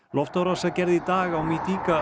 loftárás var gerð í dag á